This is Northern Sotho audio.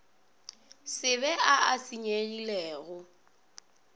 se be a a senyegilego